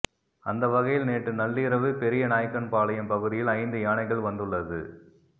அந்த வகையில் நேற்று நள்ளிரவு பெரியநாயக்கன்பாளையம் பகுதியில் ஐந்து யானைகள் வந்துள்ளது